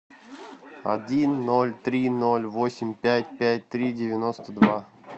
один ноль три ноль восемь пять пять три девяносто два